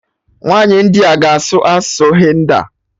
Nwaanyi India ga-asụ asụsụ Hindi